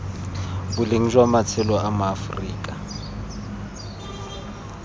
boleng jwa matshelo a maaforika